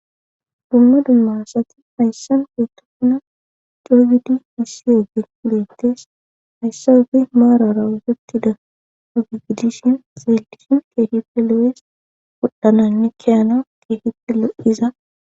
Dumma dumma asati hayssan uytokuna cofid misi yege leettes hayssawufi maarara wusurtida agigidishin zaeldishin keehife lo7es wodhananne kiyana keehife lo7iza.